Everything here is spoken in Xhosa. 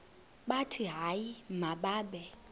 bathi hayi mababe